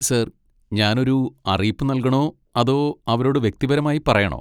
Sir, ഞാൻ ഒരു അറിയിപ്പ് നൽകണോ അതോ അവരോട് വ്യക്തിപരമായി പറയണോ?